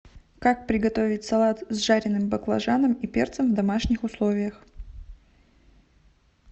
как приготовить салат с жареным баклажаном и перцем в домашних условиях